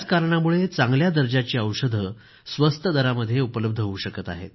याच कारणामुळे चांगल्या दर्जाची औषधं स्वस्त दरामध्ये उपलब्ध होवू शकत आहेत